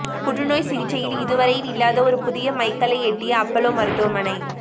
புற்றுநோய் சிகிச்சையில் இதுவரையில்லாத ஒரு புதிய மைல்கல்லை எட்டிய அப்பல்லோ மருத்துவமனை